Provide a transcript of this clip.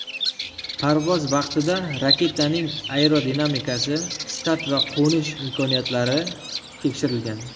Parvoz vaqtida raketaning aerodinamikasi, start va qo‘nish imkoniyatlari tekshirilgan.